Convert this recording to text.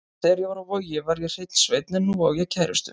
Þegar ég var á Vogi var ég hreinn sveinn en nú á ég kærustu.